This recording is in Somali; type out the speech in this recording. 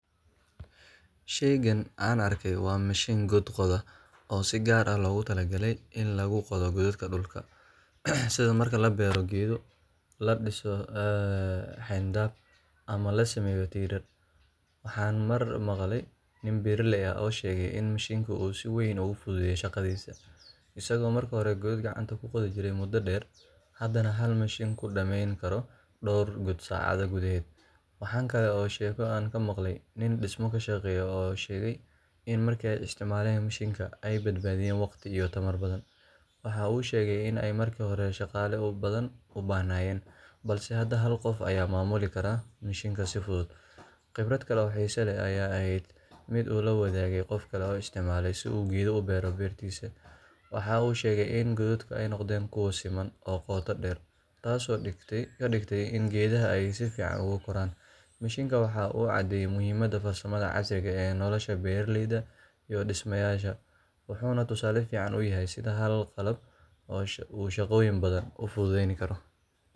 Shaygan aan arkay waa mishiin god qoda oo si gaar ah loogu talagalay in lagu qodo godad dhulka ah, sida marka la beero geedo, la dhiso xayndaab, ama la sameeyo tiirar. Waxaan mar maqalay nin beeraley ah oo sheegay in mishiinkan uu si weyn u fududeeyay shaqadiisii, isagoo markii hore godad gacanta ku qodi jiray muddo dheer, haddana hal mishiin ku dhamayn karo dhowr god saacad gudaheed. Waxaa kale oo jirta sheeko aan ka maqlay nin dhismo ka shaqeeya oo sheegay in markii ay isticmaaleen mishiinkan ay badbaadiyeen waqti iyo tamar badan. Waxaa uu sheegay in ay markii hore shaqaale badan u baahnaayeen, balse hadda hal qof ayaa maamuli kara mishiinka si fudud. Khibrad kale oo xiiso leh ayaa ahayd mid uu la wadaagay qof kale oo isticmaalay si uu geedo u beero beertiisa. Waxa uu sheegay in godadku ay noqdeen kuwo siman oo qoto dheer, taasoo ka dhigtay in geedaha ay si fiican ugu koraan. Mishiinkan waxa uu caddeeyay muhiimadda farsamada casriga ah ee nolosha beeraleyda iyo dhisayaasha, wuxuuna tusaale fiican u yahay sida hal qalab uu shaqooyin badan u fududeyn karo.